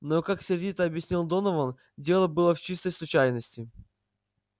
но как сердито объяснял донован дело было в чистой случайности